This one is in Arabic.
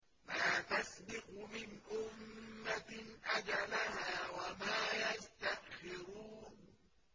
مَا تَسْبِقُ مِنْ أُمَّةٍ أَجَلَهَا وَمَا يَسْتَأْخِرُونَ